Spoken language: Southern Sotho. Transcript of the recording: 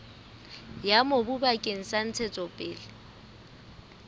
ya mobu bakeng sa ntshetsopele